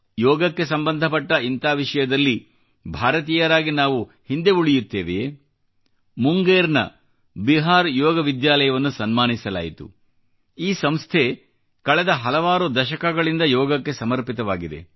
ಯೋಗಕ್ಕೆ ಸಂಬಂಧ ಪಟ್ಟ ಈ ವಿಷಯದಲ್ಲಿ ಭಾರತೀಯರಾಗಿ ನಾವು ಹಿಂದೆ ಉಳಿಯುತ್ತೇವೆಯೇ ಮುಂಗೇರ್ನ ಬಿಹಾರ್ ಯೋಗ ವಿದ್ಯಾಲಯವನ್ನು ಸನ್ಮಾನಿಸಲಾಯಿತು ಈ ಸಂಸ್ಥೆ ಕಳೆದ ಹಲವಾರು ದಶಕಗಳಿಂದ ಯೋಗಕ್ಕೆ ಸರ್ಮಪಿತವಾಗಿದೆ